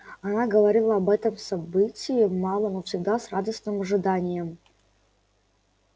она говорила об этом событии мало но всегда с радостным ожиданием